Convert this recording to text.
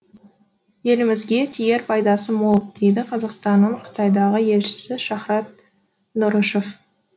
елімізге тиер пайдасы мол дейді қазақстанның қытайдағы елшісі шахрат нұрышев